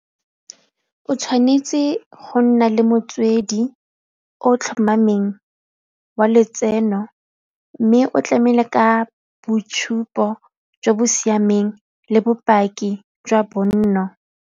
O tshwanetse go nna le motswedi o o tlhomameng wa letseno mme o tlamele ka boitshupo jwa bo siameng le bopaki jwa bonno.